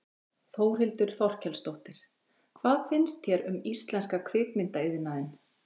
Þórhildur Þorkelsdóttir: Hvað finnst þér um íslenska kvikmyndaiðnaðinn?